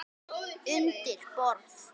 Undir borð.